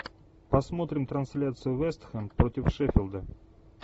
посмотрим трансляцию вест хэм против шеффилда